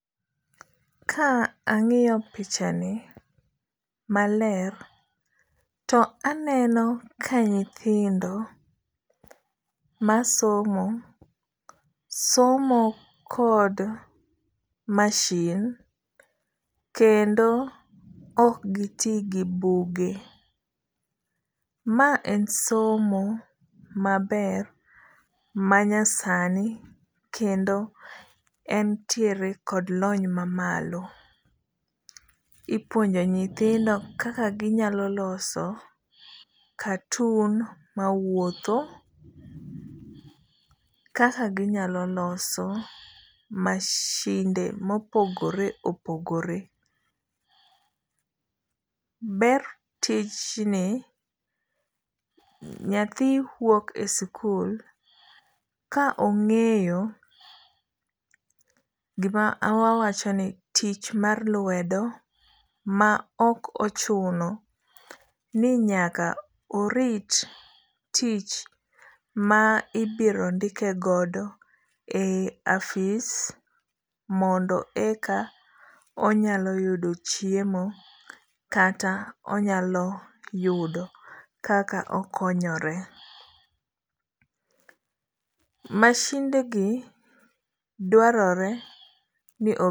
Ka ang'iyo pichani maler, to aneno ka nyithindo masomo, somo kod machine kendo ok giti gi buge. Ma en somo maber manyasani kendo entiere kod lony mamalo. Ipuonjo nyithindo kaka ginyalo loso cartoon mawuotho, kaka ginyalo loso mashinde mopogoreopogore. Ber tijni, nyathi wuok e sikul ka ong'eyo gima wawacho ni tich mar lwedo ma ok ochuno ni nyaka orit tich ma ibiro ndike godo e afis mondo eka onyalo yudo chiemo kata eka onyalo yudo kaka okonyore. Mashindegi dwarore ni